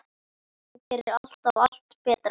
Þú gerðir alltaf allt betra.